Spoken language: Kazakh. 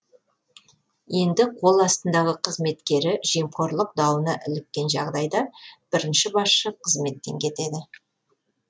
енді қол астындағы қызметкері жемқорлық дауына іліккен жағдайда бірінші басшы қызметтен кетеді